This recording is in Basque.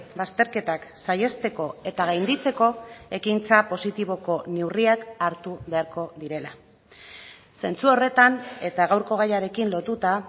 bazterketak saihesteko eta gainditzeko ekintza positiboko neurriak hartu beharko direla zentzu horretan eta gaurko gaiarekin lotuta